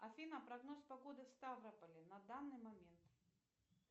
афина прогноз погоды в ставрополе на данный момент